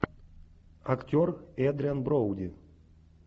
актер эдриан броуди